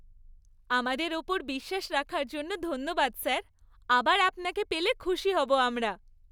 আমাদের ওপর বিশ্বাস রাখার জন্য ধন্যবাদ, স্যার। আবার আপনাকে পেলে খুশি হব আমরা।